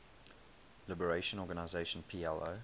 liberation organization plo